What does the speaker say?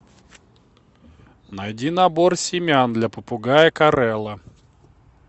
найди набор семян для попугая корелла